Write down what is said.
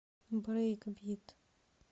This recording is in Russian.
брейкбит